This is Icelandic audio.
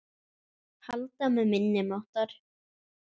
Halda með minni máttar.